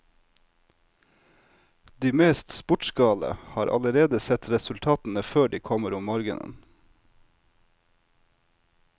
De mest sportsgale har allerede sett resultatene før de kommer om morgenen.